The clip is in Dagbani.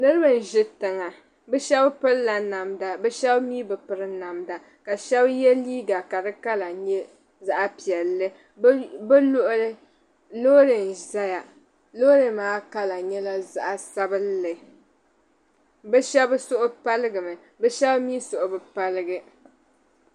Niriba n-ʒi tiŋa bɛ shɛba pirila namda bɛ shɛba mi bi piri namda ka shɛba ye liiga ka di kala nyɛ zaɣ' piɛlli. Bɛ luɣili loori n-zaya. Loori maa kala nyɛla zaɣ' sabilinli. Bɛ shɛba suhu paligimi bɛ shɛba mi suhu bi paligi.